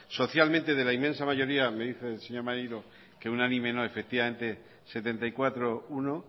socialmente de la inmensa mayoría me dice el señor maneiro que unánime no efectivamente setenta y cuatro uno